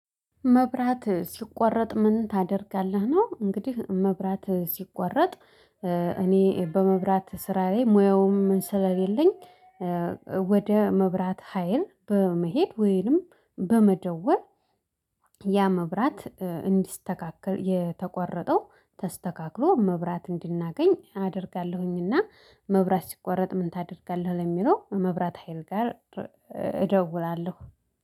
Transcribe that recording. መብራት ሲቋረጥ ምን ታደርጋለህ ነው። እንግዲህ መብራት ሲቋረጥ እኔ በመብራት ስራዬ ላይ ሙያውም ስለሌለኝ ወደ መብራት ሀይል በመሄድ ወይንም በመደወር ያ መብራት እንዲስተካከል፣ የተቋረጠው ተስተካክሎ መብራት እንዲናገኝ አደርጋለሁኝ። እና መብራት ሲቋረጥ ምን ታደርጋለህ? ለሚለው መብራት ሀይል ጋር እደውላለሁ።